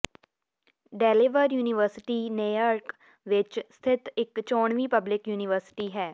Delaware university Newark ਵਿਚ ਸਥਿਤ ਇਕ ਚੋਣਵੀਂ ਪਬਲਿਕ ਯੂਨੀਵਰਸਿਟੀ ਹੈ